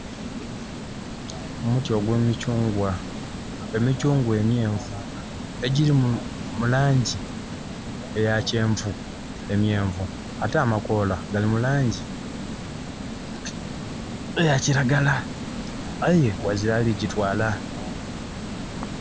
Omuti ogw'emikyungwa. Emikyungwa emyenvu, egyiri mu laangi eya kyenvu, emyenvu. Ate amakoola gali mu laangi eya kiragala. Aye ghazira ali gyitwaala.